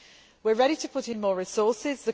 We are ready to put in more resources.